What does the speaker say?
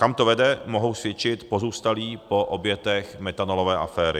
Kam to vede, mohou svědčit pozůstalí po obětech metanolové aféry.